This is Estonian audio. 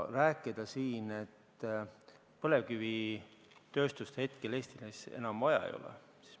Rääkida siin, et põlevkivitööstust Eestis enam vaja ei ole ...